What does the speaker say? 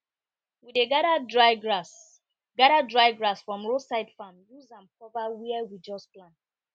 we dey gather dry grass gather dry grass from roadside farm use am cover where we just plant